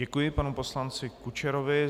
Děkuji panu poslanci Kučerovi.